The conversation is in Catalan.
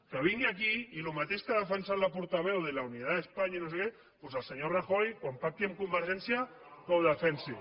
que vingui aquí i el mateix que ha defensat la portaveu de la unidad de españa i no sé què doncs el senyor rajoy quan pacti amb convergència que ho defensi